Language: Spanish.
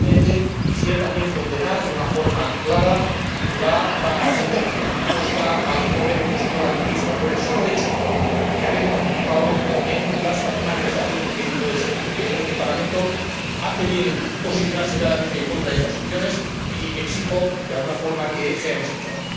Y, por último, quisiera también condenar, de una forma clara, la sentencia impuesta al joven opositor activista por el solo hecho de haber participado en las manifestaciones del 19 de septiembre. Creo que el Parlamento hace bien en posicionarse claramente en contra de estas opciones y exijo de alguna forma que sea escuchado.